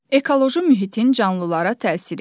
Ekoloji mühitin canlılara təsiri.